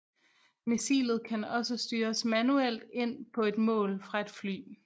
Missilet kan også styres manuelt ind på et mål fra et fly